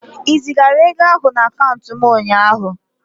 Ị zigara ego ahụ na akaụntụ m ụnyaahụ?